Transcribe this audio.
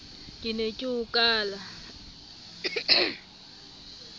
ke ne ke o kala